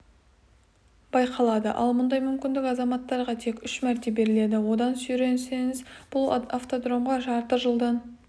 байқалады ал мұндай мүмкіндік азаматтарға тек үш мәрте беріледі одан сүрінсеңіз бұл автодромға жарты жылдан